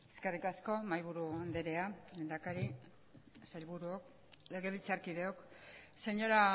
eskerrik asko mahaiburu andrea lehendakari sailburuok legebiltzarkideok señora